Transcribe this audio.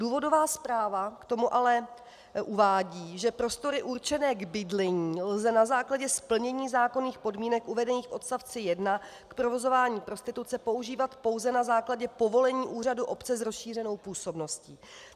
Důvodová zpráva k tomu ale uvádí, že prostory určené k bydlení lze na základě splnění zákonných podmínek uvedených v odstavci 1 k provozování prostituce používat pouze na základě povolení úřadu obce s rozšířenou působností.